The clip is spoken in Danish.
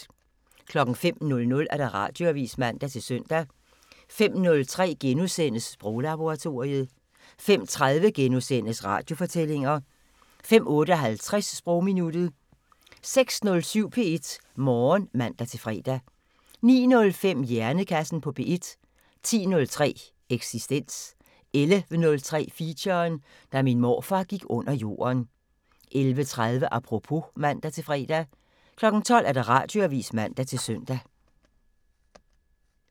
05:00: Radioavisen (man-søn) 05:03: Sproglaboratoriet * 05:30: Radiofortællinger * 05:58: Sprogminuttet 06:07: P1 Morgen (man-fre) 09:05: Hjernekassen på P1 10:03: Eksistens 11:03: Feature: Da min morfar gik under jorden 11:30: Apropos (man-fre) 12:00: Radioavisen (man-søn)